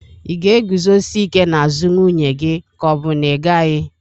Ị ga-eguzosike n'azụ nwunye gị ka ọ bụ na ị gaghị?